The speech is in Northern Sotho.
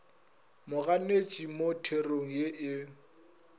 moganetši mo therong ye e